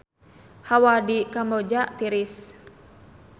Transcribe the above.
Hawa di Kamboja tiris